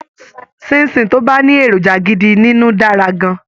Ṣín-in-ṣìn tó bá ní èròjà gidi nínú dára gan-an